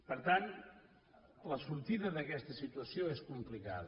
per tant la sortida d’aquesta situació és complicada